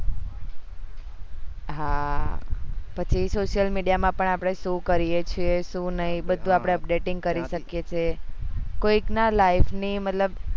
હા પછી social media માં આપણે સુ કરીએ છીએ સુ નહી બધું આપડે updating કરી શકીએ છીએ કોક ના life ની મતલબ